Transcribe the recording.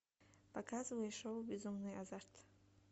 показывай шоу безумный азарт